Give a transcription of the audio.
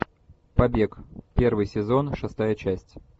побег первый сезон шестая часть